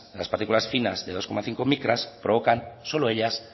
las partículas finas de dos coma cinco micras provocan solo ellas